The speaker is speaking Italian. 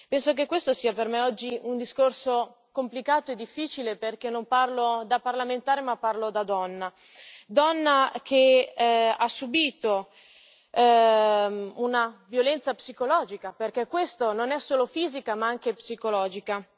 Penso che questo sia per me oggi un discorso complicato e difficile, perché non parlo da parlamentare ma parlo da donna, donna che ha subito una violenza psicologica, perché parliamo di violenza non solo fisica, ma anche psicologica.